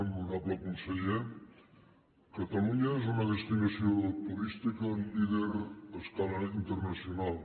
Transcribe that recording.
honorable conseller catalunya és una destinació turística líder a escala internacional